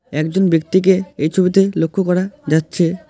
একজন ব্যক্তিকে এই ছবিতে লক্ষ করা যাচ্ছে।